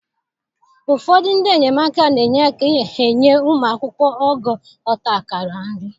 Ụfọdụ ndị enyemaka na-enye aka enye ụmụ akwụkwọ ogo ọta akara nri.